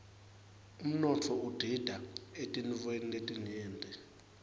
umnotfo udita eetintfweni letinyenti